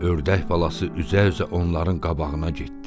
Ördək balası üzə-üzə onların qabağına getdi.